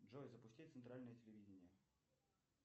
джой запусти центральное телевидение